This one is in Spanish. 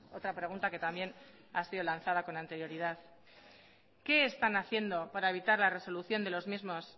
otra pregunta que también ha sido lanzada con anterioridad qué están haciendo para evitar